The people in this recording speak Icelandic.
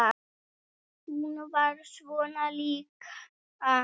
Hún var svona líka.